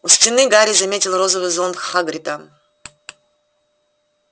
у стены гарри заметил розовый зонт хагрида